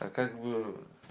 а как бы